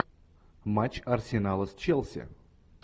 матч арсенала с челси